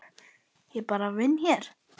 Ég bara vinn hér.